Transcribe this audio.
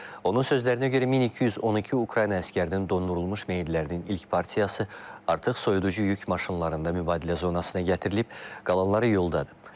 Onun sözlərinə görə 1212 Ukrayna əsgərinin dondurulmuş meyidlərinin ilk partiyası artıq soyuducu yük maşınlarında mübadilə zonasına gətirilib, qalanları yoldadır.